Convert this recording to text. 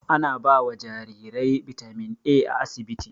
Ana bawa jarirai bitamin A a asibiti